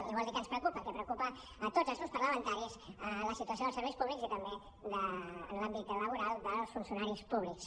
i vol dir que ens preocupa que preocupa a tots els grups parlamentaris la situació dels serveis públics i també l’àmbit laboral dels funcionaris públics